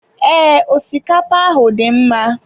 Ee, osikapa ahụ dị mma.